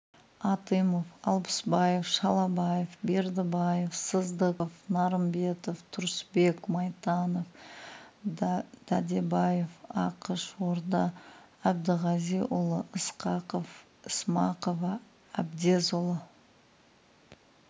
атымов алпысбаев шалабаев бердібаев сыздықов нарымбетов тұрысбек майтанов дәдебаев ақыш орда әбдіғазиұлы ысқақов ісмақова әбдезұлы